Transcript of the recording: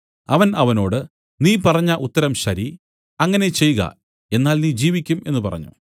അവൻ അവനോട് നീ പറഞ്ഞ ഉത്തരം ശരി അങ്ങനെ ചെയ്ക എന്നാൽ നീ ജീവിക്കും എന്നു പറഞ്ഞു